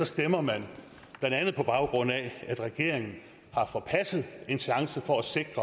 stemmer man blandt andet på baggrund af at regeringen har forpasset en chance for at sikre